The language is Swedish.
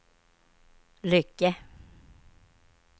Lycke